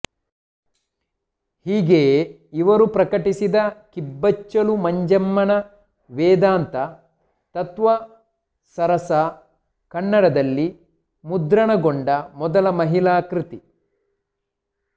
ಹೀಗೆಯೇ ಇವರು ಪ್ರಕಟಿಸಿದ ಕಿಬ್ಬಚ್ಚಲು ಮಂಜಮ್ಮನ ವೇದಾಂತ ತತ್ತ್ವಸರಸಾ ಕನ್ನಡದಲ್ಲಿ ಮುದ್ರಣಗೊಂಡ ಮೊದಲ ಮಹಿಳಾಕೃತಿ